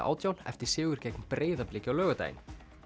átján eftir sigur gegn Breiðabliki á laugardaginn